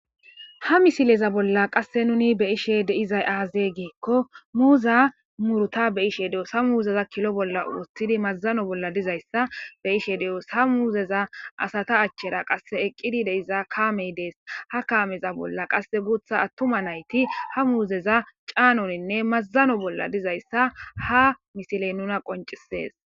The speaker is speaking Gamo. Ha misilezan bollan qasi nun be'ishen dizayis aze giiko muza muruta be'ishe do'os ha muza kilo bolla woxidi mazano bolla dizaysa be'she do'os ha muzera asata achera qa eqidi deiza kamey dees ha kameza bollaka gutha atuma nayiti ha muzeza canoyinee mazano bolla dizaysa ha misile nus qoncises